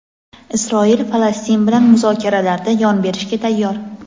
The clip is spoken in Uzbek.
Isroil Falastin bilan muzokaralarda yon berishga tayyor.